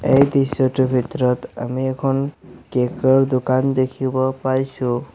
এই দৃশ্যটোৰ ভিতৰত আমি এখন কেক ৰ দোকান দেখিব পাইছোঁ।